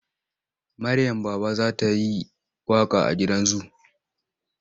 Maryam Baba za ta yi waƙa a gidan zu.